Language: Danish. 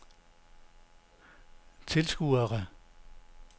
tilskuere